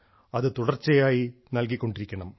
അത് തുടർച്ചയായി നൽകി കൊണ്ടിരിക്കണം